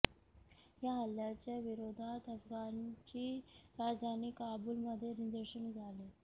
या हल्ल्याच्या विरोधात अफगाणची राजधानी काबुलमध्ये निदर्शने झाली